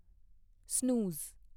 snooze